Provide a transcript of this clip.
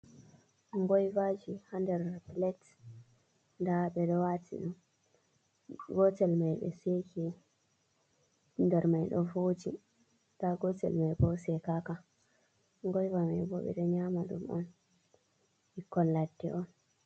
Ngoivaji ha nder pilet. Nda ɓe ɗo watino gotel mai be Seke nder maiɗo foji .nda Gotel mai bo sekaka goiva mai bobe do nyama ɗum on ɓikkon ledɗe on.